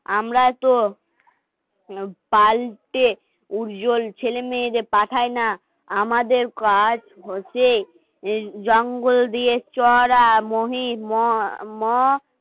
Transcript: আমরাই তো পাল্টে উজ্বল ছেলে মেয়েদের পাঠায় না আমাদের কাজ হচ্ছে জঙ্গল দিয়ে চড়া মহিম